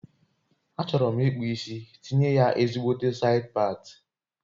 A chọrọ m ikpụ isi tinye ya ezigbote said pati